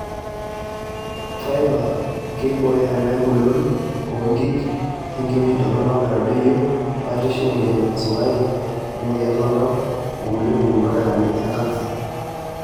Faiba:keibooyo ena engolon oo nkik, enkiroshi toronok neitadoyio batisho emoyian esukari, emoyian oltau o kulie pukunot e kansa.